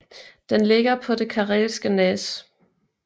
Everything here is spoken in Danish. Den ligger på det Karelske næs